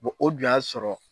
o dun y'a sɔrɔ